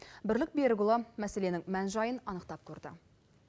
бірлік берікұлы мәселенің мән жайын анықтап көрді